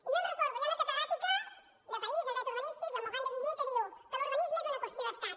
i jo els recordo hi ha una catedràtica de parís de dret urbanístic la morand deviller que diu que l’urbanisme és una qüestió d’estat